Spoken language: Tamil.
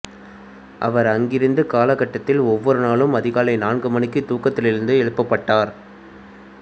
அவர் அங்கிருந்த கால கட்டத்தில் ஒவ்வொரு நாளும் அதிகாலை நான்கு மணிக்கு தூக்கத்திலிருந்து எழுப்பப்பட்டார்